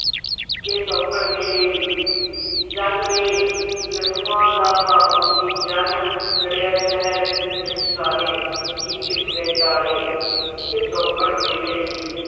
ਕਿ ਸ਼ੌਂਕਣ ਮੇਲੇ ਦੀ ਚੰਨ ਵੇ ਲਡੂਆਂ ਦਾ ਭਾ ਪੁਛਦੀ ਚੰਨ ਚੜ੍ਹਿਆ ਸ਼ਹਿਰ ਵਿੱਚ ਸਾਰੇ ਕਿ ਛਿਪ ਗਏ ਤਾਰੇ ਕਿ ਸ਼ੌਂਕਣ ਮੇਲੇ ਦੀ,